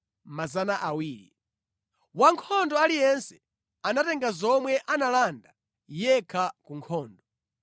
Wankhondo aliyense anatenga zomwe analanda yekha ku nkhondo.